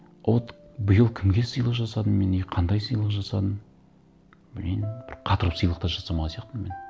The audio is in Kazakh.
вот биыл кімге сыйлық жасадым мен и қандай сыйлық жасадым блин бір қатырып сыйлық та жасамаған сияқтымын мен